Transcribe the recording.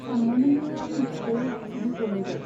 सान्नानैनो आंनि खुगायाव खदै गलायबाय।